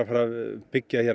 byggja hér